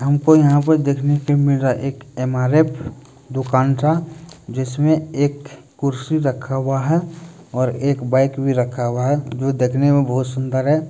हमको यहाँ पर देखने को मिल रहा है एक एमआरएफ दुकान सा जिसमें एक कुर्सी रखा हुआ है और एक बाईक भी रखा हुआ है देखने में बहुत सुन्दर है।